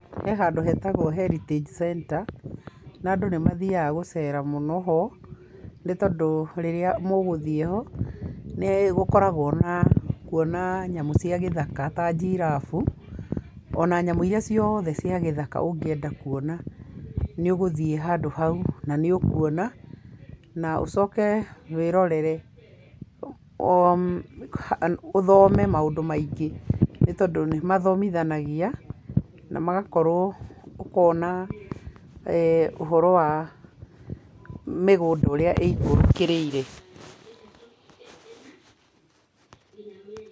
He handũ hetagwo heritage centre na andũ nĩmathiaga gũcera mũno ho, nĩ tondũ rĩrĩa mũgũthie ho, nĩgũkoragwo na, kuona nyamũ cia gĩthaka ta njirabu, na nyamũ iria ciothe cia gĩthaka ũngĩenda kuona, nĩũgũthie handũ hau na nĩũkuona, na ũcoke wĩrorere, ũthome maũndũ maingĩ nĩ tondũ nĩmathomithanagia na magakorwo, ũkona ũhoro wa, mĩgũnda ũrĩa ĩikũrũkĩrĩire.